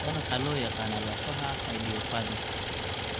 Tan waxaa loo yaqaanaa lafaha idiopathic.